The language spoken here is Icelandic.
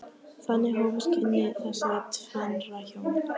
Þannig hófust kynni þessara tvennra hjóna.